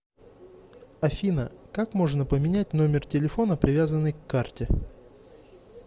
афина как можно поменять номер телефона привязанный к карте